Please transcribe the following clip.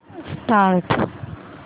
start